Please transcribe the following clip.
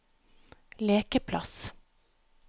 lekeplass